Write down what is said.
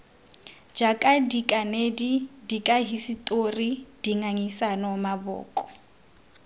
jaaka dikanedi dikahisetori dingangisano maboko